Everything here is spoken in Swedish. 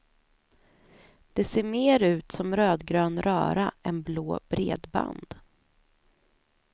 Det ser mer ut som rödgrön röra än blåa bredband.